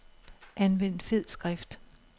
Anvend fed skrift.